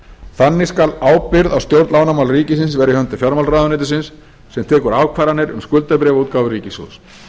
þannig skal ábyrgð á stjórn lánamála ríkisins vera í höndum fjármálaráðuneytisins sem tekur ákvarðanir um skuldabréfaútgáfu ríkissjóðs